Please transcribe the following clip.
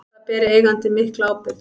Þar beri eigandi mikla ábyrgð.